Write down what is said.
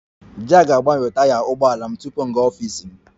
Jack ga-agbanwe taya ụgbọ ala m tupu m gaa n'ọfịs m